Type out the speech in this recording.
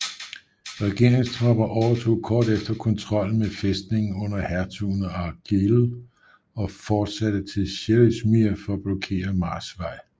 Regereringstropper overtog kort efter kontrollen med fæstningen under hertugen af Argyll og fortsatte til Sheriffmuir for at blokere Mars vej